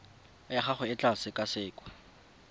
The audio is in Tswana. ya gago e tla sekasekwa